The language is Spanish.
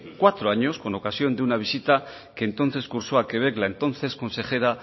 cuatro años con ocasión de una visita que entonces cursó a quebec la entonces consejera